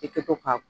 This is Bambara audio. I kɛ to ka